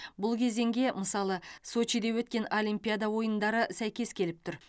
бұл кезеңге мысалы сочиде өткен олимпиада ойындары сәйкес келіп тұр